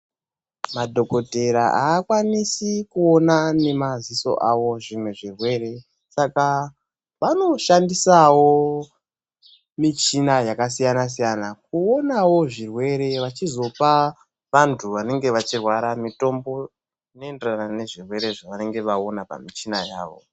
Madhogodheya haakwanisi kuona nemadziso avo zvimwe zvirwere, saka vanoshandisavo michina yakasiyana -siyana, kuonavo zvirwere vachizopa vantu vanenge vachirwara mitombo inoenderana nezvirwere zvavanenge vaona pamichina yavo.